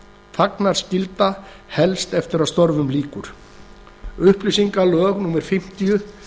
þagnarskylda helst eftir að störfum lýkur upplýsingalög númer fimmtíu